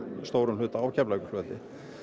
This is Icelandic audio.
stórum hlutum á Keflavíkurflugvelli